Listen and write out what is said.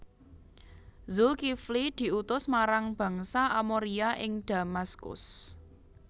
Zulkifli diutus marang Bangsa Amoria ing Damaskus